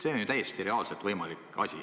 See on ju täiesti reaalselt võimalik asi.